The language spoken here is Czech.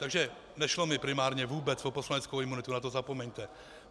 Takže nešlo mi primárně vůbec o poslaneckou imunitu, na to zapomeňte.